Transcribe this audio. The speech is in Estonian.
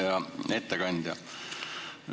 Hea ettekandja!